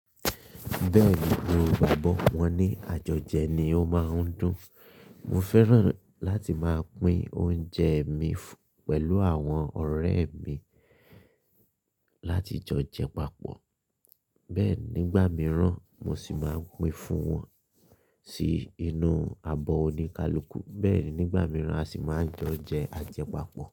Bẹ́ẹ̀ni mo gbàgbọ́ wọn ní àjọjẹ ni ó máa ń dùn. Mo fẹ́ràn láti máa pín oúnjẹ mi pẹ̀lú àwọn ọ̀rẹ́ mi láti jo jẹ papọ̀. Bẹ́ẹ̀ nígbà mìíràn mo sì máa n pín fún wọn sí inú abọ́ oníkálukú. Bẹ́ẹ̀ nígbà mìíràn a sì máa n jo jẹ ajẹpapọ̀.